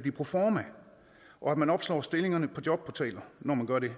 blive proforma og at man opslår stillingerne på jobportaler når man gør det